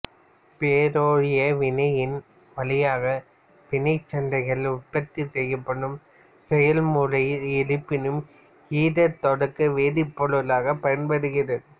Ferrario வினையின் வழியாக பீனாக்சாதைன் உற்பத்தி செய்யப்படும் செயல்முறையில் இருபீனைல் ஈதர் தொடக்க வேதிப்பொருளாகப் பயன்படுகிறது